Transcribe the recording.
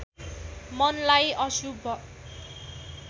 मनलाई अशुभ